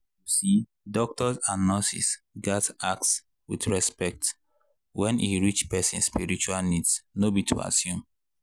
you see doctors and nurses gats ask with respect when e reach person spiritual needs no be to assume.